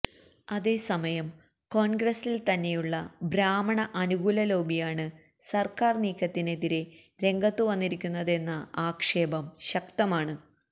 അതേസമയം കോണ്ഗ്രസില് തന്നെയുള്ള ബ്രാഹ്മണ അനുകൂല ലോബിയാണ് സര്ക്കാര് നീക്കത്തിനെതിരെ രംഗത്തുവന്നിരിക്കുന്നതെന്ന ആക്ഷേപം ശക്തമാണ്